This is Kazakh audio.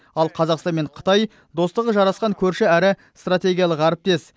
ал қазақстан мен қытай достығы жарасқан көрші әрі стратегиялық әріптес